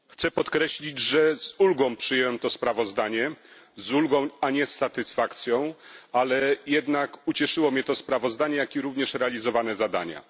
Chcę podkreślić, że z ulgą przyjąłem to sprawozdanie, z ulgą a nie z satysfakcją, ale jednak ucieszyło mnie to sprawozdanie, jak i realizowane zadania.